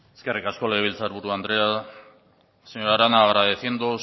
eskerrik asko legebiltzar buru andrea señora arana agradeciendo